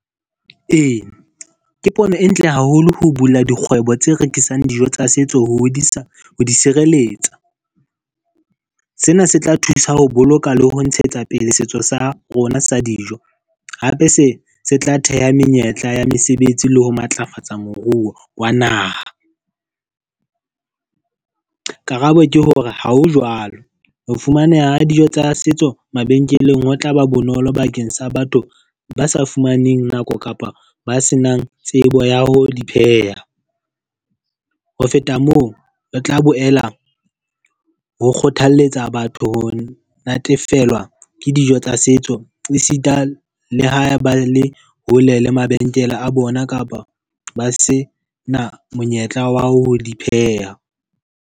Eya, ke pono e ntle haholo ho bula dikgwebo tse rekisang dijo tsa setso ho hodisa ho di sireletsa. Sena se tla thusa ho boloka le ho ntshetsa pele setso sa rona sa dijo. Hape se se tla theha menyetla ya mesebetsi le ho matlafatsa moruo wa naha. Karabo ke hore ha ho jwalo, ho fumaneha dijo tsa setso mabenkeleng ho tlaba bonolo bakeng sa batho ba sa fumaneng nako kapa ba senang tsebo ya ho di pheha. Ho feta moo, re tla boela ho kgothaletsa batho ho natefelwa ke dijo tsa setso esita le ha ba le hole le mabenkele a bona kapa ba se na monyetla wa ho di pheha.